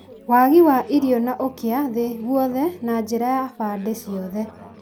wagi wa irio, na ũkĩa thĩ-inĩ guothe na njĩra ya bande ciothe.